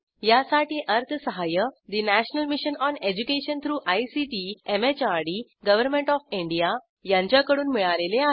यासाठी अर्थसहाय्य national mission on education through ICT MHRD government of India यांच्याकडून मिळालेले आहे